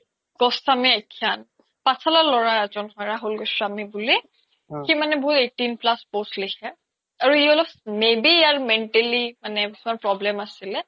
পাথ্শালা ল্'ৰা এজ্ন হয় ৰহুল গোস্ৱামি বুলি সি মানে বহুত eighteen plus post লিখে আৰু ই অলপ may be ইয়াৰ mentally some problem আছিলে